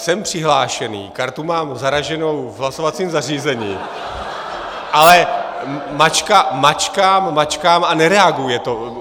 Jsem přihlášený, kartu mám zaraženou v hlasovacím zařízení, ale mačkám, mačkám a nereaguje to.